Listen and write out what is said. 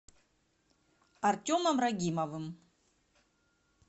артемом рагимовым